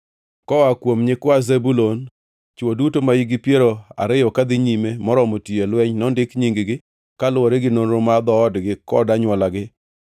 Koa kuom nyikwa Zebulun: Chwo duto mahikgi piero ariyo kadhi nyime moromo tiyo e lweny nondik nying-gi, kaluwore gi nonro mar dhoodgi kod anywolagi.